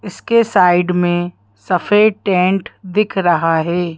इसके साइड में सफेद टेंट दिख रहा है।